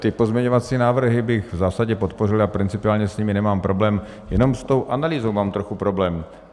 Ty pozměňovací návrhy bych v zásadě podpořil, já principiálně s nimi nemám problém, jenom s tou analýzou mám trochu problém.